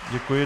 Děkuji.